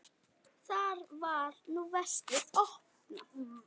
Þar var nú veskið opnað.